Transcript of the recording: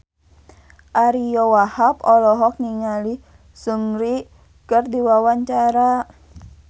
Ariyo Wahab olohok ningali Seungri keur diwawancara